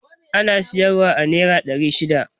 Ana siyar wa a nera ɗari shida